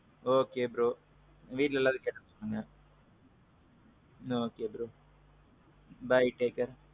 okay bro. வீட்ல எல்லாரையும் கேட்டதா சொல்லுங்க. okay bro. bye, take care.